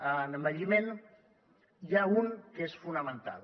en envelliment n’hi ha un que és fonamental